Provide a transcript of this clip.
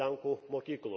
lenkų mokyklų.